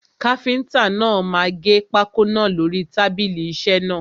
Káfíntà náà máa gẹ pákó náà lórí tábìlì isẹ́ náà.